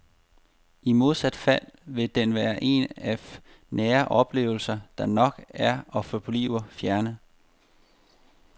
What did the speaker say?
I modsat fald vil den være en af nære oplevelser, der nok er og forbliver fjerne.